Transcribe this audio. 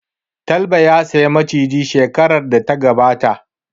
Talba ya saya Maciji shekarar da ta gabata